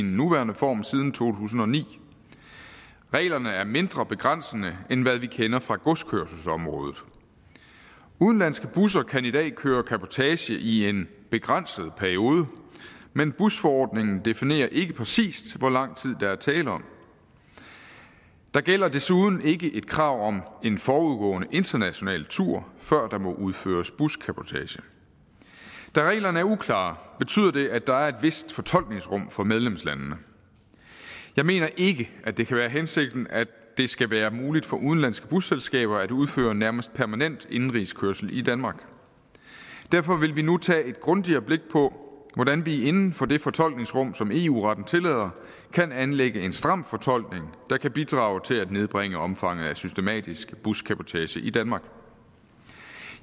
nuværende form siden to tusind og ni reglerne er mindre begrænsende end hvad vi kender fra godskørselsområdet udenlandske busser kan i dag køre cabotage i en begrænset periode men busforordningen definerer ikke præcist hvor lang tid der er tale om der gælder desuden ikke et krav om en forudgående international tur før der må udføres buscabotage da reglerne er uklare betyder det at der er et vist fortolkningsrum for medlemslandene jeg mener ikke at det kan være hensigten at det skal være muligt for udenlandske busselskaber at udføre nærmest permanent indenrigskørsel i danmark derfor vil vi nu tage et grundigere blik på hvordan vi inden for det fortolkningsrum som eu retten tillader kan anlægge en stram fortolkning der kan bidrage til at nedbringe omfanget af systematisk buscabotage i danmark